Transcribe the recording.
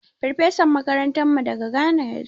Farfesan makarantarmu daga Ghana ya zo.